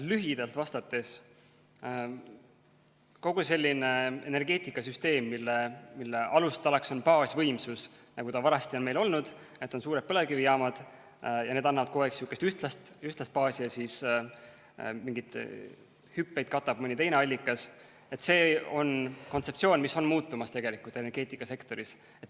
Lühidalt vastates, kogu selline energeetikasüsteem, mille alustalaks on baasvõimsus, nagu ta vanasti on meil olnud, et on suured põlevkivijaamad ja need annavad kogu aeg sihukest ühtlast baasi ja siis mingeid hüppeid katab mõni teine allikas, see on kontseptsioon, mis tegelikult on muutumas energeetikasektoris.